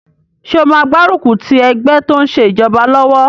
Ṣé o máa gbárùkù ti ẹgbẹ́ tó n ṣe ìjọba lọ́wọ́?